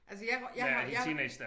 Altså jeg røg jeg har jeg